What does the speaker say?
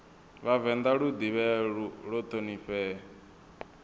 vhavenḓa lu ḓivhee lu ṱhonifhee